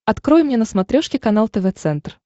открой мне на смотрешке канал тв центр